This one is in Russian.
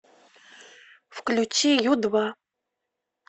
включи ю два